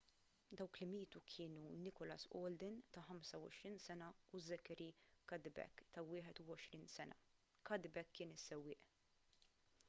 dawk li mietu kienu nicholas alden ta' 25 sena u zachary cuddeback ta' 21 sena cuddeback kien is-sewwieq